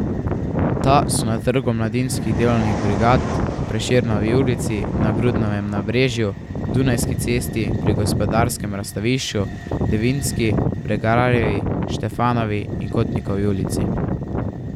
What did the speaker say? Ta so na Trgu mladinskih delovnih brigad, v Prešernovi ulici, na Grudnovem nabrežju, Dunajski cesti pri Gospodarskem razstavišču, v Devinski, Bregarjevi, Štefanovi in Kotnikovi ulici.